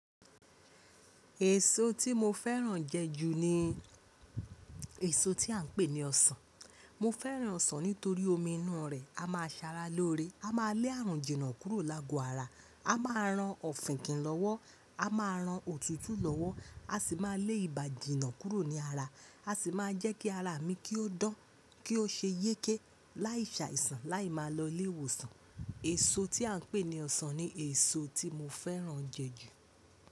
Èso tí mo fẹ́ràn jẹ ju ni èso tí à ń pè ní ọsàn. Mo fẹ́ràn ọsàn nítorí omi inú rẹ̀. A máa ṣara lóore, a máa lé àrùn jìnà kúrò lágo ara, a máa ran ọ̀fìnkìn lọ́wọ́, a máa ran òtútù lọ́wọ́, a sì máa lé ìbàjìnà kúrò ní ara, a sì máa jẹ́ kí ara mi kí ó dán, kí ó ṣe yéké, láìṣàìsàn láì máa lọ lé ìwòsàn. Èso tí à ń pè ní ọsàn ni èso tí mo fẹ́ràn jẹ ju.